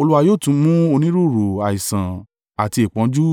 Olúwa yóò tún mú onírúurú àìsàn àti ìpọ́njú